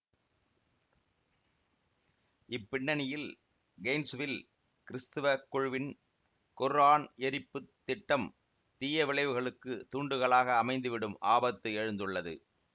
இப்பின்னணியில் கெயின்சுவில் கிறிஸ்தவக் குழுவின் குர்ஆன் எரிப்புத் திட்டம் தீய விளைவுகளுக்குத் தூண்டுதலாக அமைந்துவிடும் ஆபத்து எழுந்துள்ளது